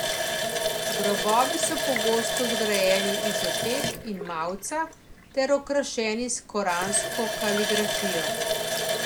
Grobovi so pogosto zgrajeni iz opek in mavca ter okrašeni s koransko kaligrafijo.